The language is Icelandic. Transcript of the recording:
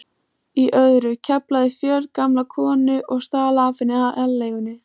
í öðru, KEFLAÐI FJÖRGAMLA KONU OG STAL AF HENNI ALEIGUNNI